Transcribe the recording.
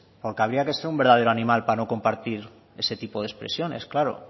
porque habría que ser un verdadero animal para no compartir ese tipo de expresiones claro